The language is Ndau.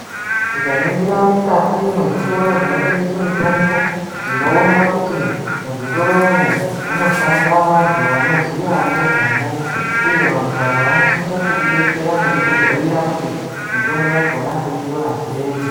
Tikaningira mukati mwezvitoro zvinotengese mitombo tinoona kuti muzvitoro umwu munoshanda anhu vanoziya ngezvamwo uye vantu ava vanosisa kuti detsera nekutibhuyirwa kuti mitombo yakona toitora sei.